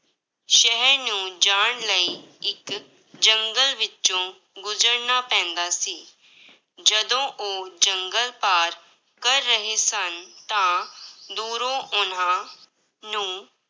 ਸ਼ਹਿਰ ਨੂੰ ਜਾਣ ਲਈ ਇੱਕ ਜੰਗਲ ਵਿੱਚੋਂ ਗੁਜ਼ਰਨਾ ਪੈਂਦਾ ਸੀ, ਜਦੋਂ ਉਹ ਜੰਗਲ ਪਾਰ ਕਰ ਰਹੇ ਸਨ, ਤਾਂ ਦੂਰੋਂ ਉਹਨਾਂ ਨੂੰ